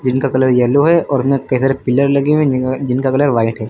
इनका colour yellow है और केधर पिलर लगे हुए जिनका कलर व्हाइट है।